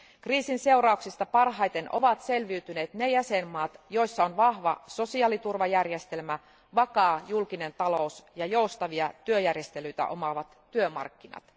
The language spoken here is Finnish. Kriisin seurauksista parhaiten ovat selviytyneet ne jäsenvaltiot, joissa on vahva sosiaaliturvajärjestelmä, vakaa julkinen talous ja joustavia työjärjestelyitä omaavat työmarkkinat.